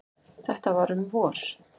Þetta var um vor.